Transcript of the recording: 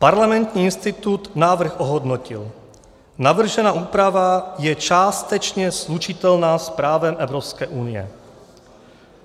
Parlamentní institut návrh ohodnotil - navržená úprava je částečně slučitelná s právem Evropské unie.